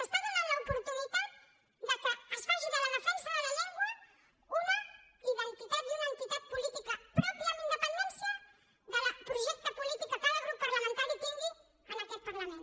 es dóna l’oportunitat que es faci de la defensa de la llengua una identitat i una entitat política pròpia amb independència del projecte polític que cada grup parlamentari tingui en aquest parlament